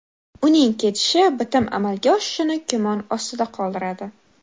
Uning ketishi bitim amalga oshishini gumon ostida qoldiradi.